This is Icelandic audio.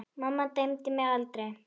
Mamma dæmdi mig aldrei.